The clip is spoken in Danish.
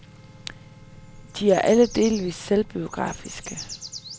De er alle delvist selvbiografiske.